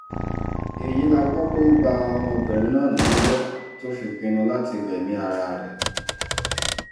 èyí la gbọ́ pé ó ba ọmọbìnrin náà nínú jẹ́ tó fi pinnu láti gbẹ̀mí ara ẹ̀